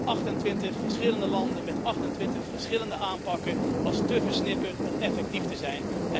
28 verschillende landen met 28 verschillende aanpakken, dat was te versnipperd om effectief te zijn.